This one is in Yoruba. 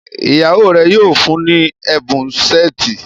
ìyàwó rẹ yíò fún ní Ẹbùn Ṣẹ́ẹ̀tì.